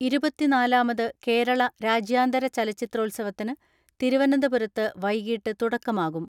ഇരുപത്തിനാലാമത് കേരള രാജ്യാന്തര ചലച്ചിത്രോത്സവത്തിന് തിരുവനന്തപുരത്ത് വൈകിട്ട് തുടക്കമാകും.